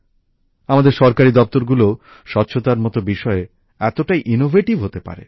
আমাদের সরকারি দপ্তরগুলোও স্বচ্ছতার মতো বিষয়ে এতটাই ইনোভেটিভ হতে পারে